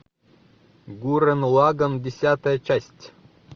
гуррен лаганн десятая часть